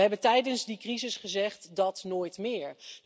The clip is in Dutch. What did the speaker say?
En we hebben tijdens die crisis gezegd dat nooit meer.